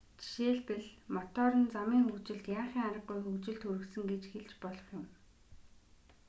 жишээлбэл мотор нь замын хөгжилд яахын аргагүй хөгжилд хүргэсэн гэж хэлж болох юм